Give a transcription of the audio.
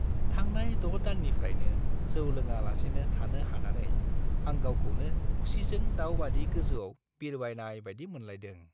थांनाय 6 दाननिफ्रायनो जौ लोङा लासेनो थानो हानानै आं गावखौनो खुसिजों दाव बादि गोजौआव बिरबायनाय बादि मोनलायदों।